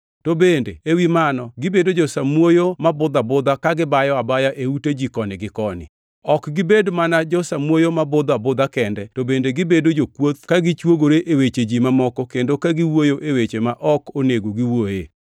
To bende ewi mano, gibedo jo-samuoyo ma budho abudha, ka gibayo abaya e ute ji koni gi koni. Ok gibed mana jo-samuoyo ma budho abudha kende, to bende gibedo jokuoth ka gichuogore e weche ji mamoko kendo ka giwuoyo e weche ma ok onego giwuoye.